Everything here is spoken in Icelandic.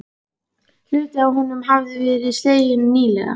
Hluti af honum hafði verið sleginn nýlega.